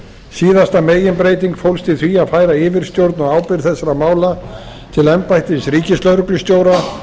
síðasta meginbreyting fólst í því að færa yfirstjórn og ábyrgð þessara mála til embættis ríkislögreglustjóra